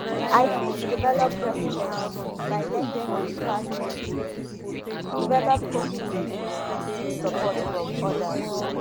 i fit develop resilience by learning from di past experiences develop coping skills and seek support from odas